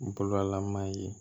Bololama ye